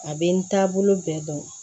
A bɛ n taabolo bɛɛ dɔn